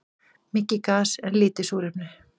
Mikið gas en lítið súrefni